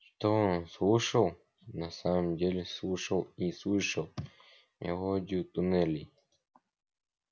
что он слушал на самом деле слушал и слышал мелодию туннелей